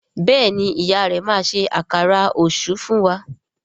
Béèni ìyá rẹ má ṣe Àkàrà Òṣú fún wá.